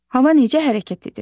Hava necə hərəkət edir?